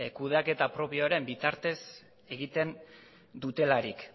kudeaketa propioaren bitartez egiten dutelarik